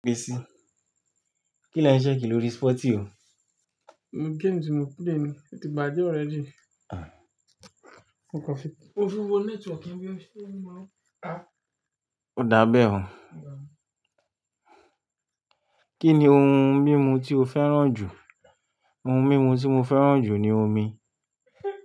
Kílẹ́ ń ṣẹ́kì lórí sporty mi? Game tí mo play ni, ó ti bàjẹ́ already. O dábẹ́ o. Kí ni ohun mímu tí o fẹ́ràn jù? Ohun mímu tí mo fẹ́ràn jù ni omi.